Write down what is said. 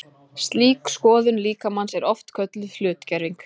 slík skoðun líkamans er oft kölluð hlutgerving